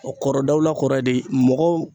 Kɔrɔ dawula kɔrɔ ye de mɔgɔw